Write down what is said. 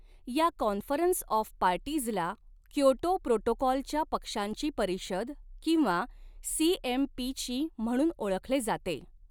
या conference of parties ला Kyoto protocol च्या पक्षांची परिषद किंवा सी एम पी ची म्हणून ओळखले जाते.